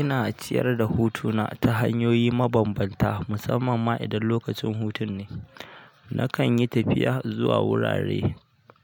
Ina ciyar da hutu na ta hanyoyi ma bambanta, musamman ma idan lokacin hutun ne. Nakan yi tafiya zuwa wurare